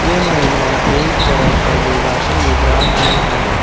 ये महिलाएं एक तरह का योगासन मुद्रा में हैं।